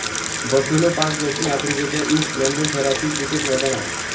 buffalo Park दक्षिण आफ्रिकेच्या East London शहरातील क्रिकेट मैदान आहे